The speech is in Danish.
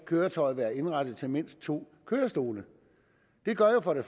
køretøj der er indrettet til mindst to kørestole det gør jo for det